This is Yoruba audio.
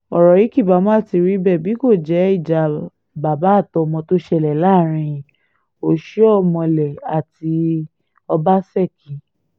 ọ̀rọ̀ yìí kì bá má ti rí bẹ́ẹ̀ bí kò jẹ́ ìjà bàbà àtọmọ tó ṣẹlẹ̀ láàrin oṣíọ́milé àti ọbaṣẹ́kí